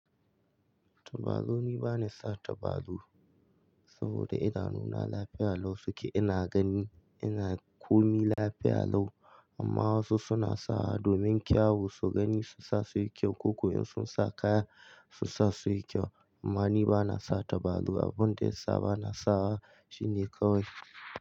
Tabarau ni bana sa tabaru saboda idanuna lafiya lau suke ina gani ina komi lafiya lau amma wasu suna sa domin kyawu su gani su sa suyi kyau ko ko in sun sa kaya su sa suyi kyau. Amma ni bana sa tabaru abunda yasa bana sawa shine kawai.